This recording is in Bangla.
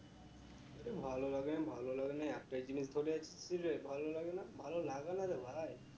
আরে ভালো লাগে না ভালো লাগে না একটাই জিনিস বলে যাচ্ছিস তুই রে ভালো লাগে না, ভালো লাগা না রে ভাই